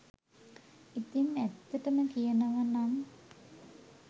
ඉතින් ඇත්තටම කියනවනම්